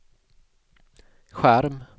skärm